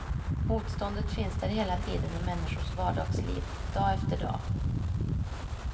Motståndet finns där hela tiden i människors vardagsliv, dag efter dag.